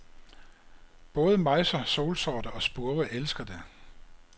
Både mejser, solsorte og spurve elsker det.